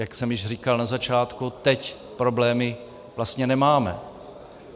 Jak jsem již říkal na začátku, teď problémy vlastně nemáme.